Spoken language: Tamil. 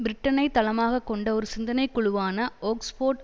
பிரிட்டனை தளமாக கொண்ட ஒரு சிந்தனை குழுவான ஒக்ஸ்போர்ட்